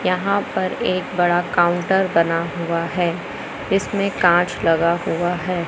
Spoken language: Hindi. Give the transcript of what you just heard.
यहां पर एक बड़ा काउंटर बना हुआ है इसमें कांच लगा हुआ है।